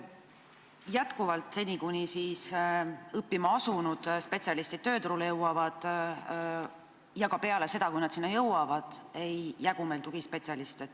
Jätkuvalt, seni, kuni õppima asunud spetsialistid tööturule jõuavad ja ka peale seda, kui nad sinna jõuavad, ei jagu meil tugispetsialiste.